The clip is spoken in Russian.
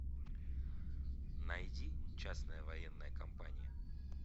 найди частная военная компания